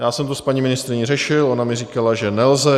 Já jsem to s paní ministryní řešil, ona mi říkala, že nelze.